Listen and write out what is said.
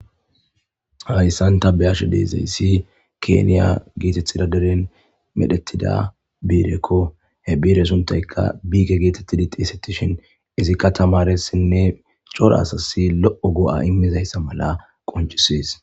Hayssan ta be'ashe dizayssi keeniya geetethida deren medhettida biireko. He biire suntayka biike geetettidi xeesetishin izikka tamaaressinne cora asasi lo'o go'a immizayssa mala qonccisees.